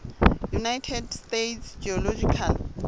united states geological